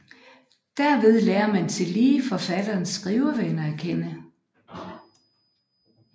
Derved lærer man tillige forfatterens skrivevaner at kende